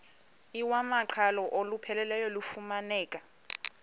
iwamaqhalo olupheleleyo lufumaneka